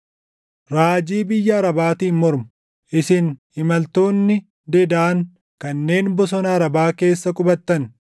Raajii biyya Arabaatiin mormu: Isin imaltoonni Dedaan kanneen bosona Arabaa keessa qubattan,